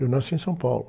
Eu nasci em São Paulo.